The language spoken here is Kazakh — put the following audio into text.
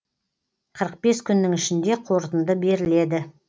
қырық бес күннің ішінде қорытынды беріледі